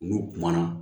N'u kumana